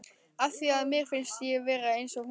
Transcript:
Af því að mér finnst ég vera eins og hún.